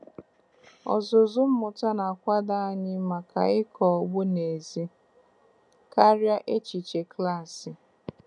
Ọzụzụ mmụta na-akwado anyị maka ịkọ ugbo n'ezie karịa echiche klaasị.